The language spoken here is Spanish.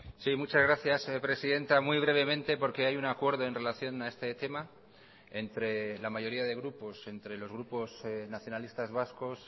sí muchas gracias presidenta muy brevemente porque hay un acuerdo en relación a este tema entre la mayoría de grupos entre los grupos nacionalistas vascos